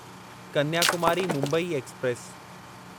Kanyakumari Mumbai express